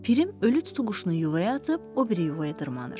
Pirim ölü tutuquşunu yuvaya atıb o biri yuvaya dırmaşır.